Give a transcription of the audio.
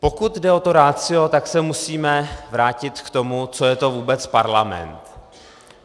Pokud jde o to ratio, tak se musíme vrátit k tomu, co je to vůbec parlament.